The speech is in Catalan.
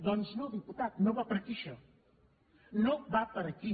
doncs no diputat no va per aquí això no va per aquí